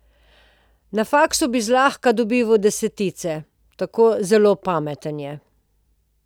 Na faksu bi zlahka dobival desetice, tako zelo pameten je.